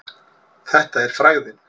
Þetta er frægðin.